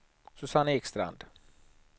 Susanne Ekstrand